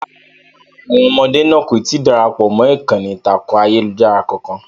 Rárá, àwọn ọmọdé náà kò tí ì darapọ̀ mọ́ ìkànnì ìtàkùn ayélujára kankan.